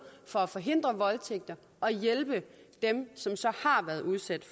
for at forhindre voldtægter og hjælpe dem som så har været udsat